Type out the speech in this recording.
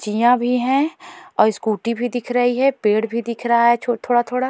चियां भी हैं और स्कूटी भी दिख रही है पेड़ भी दिख रहा है थोड़ा-थोड़ा।